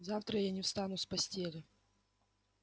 завтра я не встану с постели